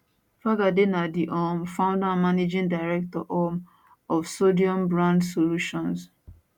fagade na di um founder and managing director um of sodium brand solutions